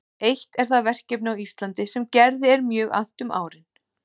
Eitt er það verkefni á Íslandi sem Gerði er mjög annt um árin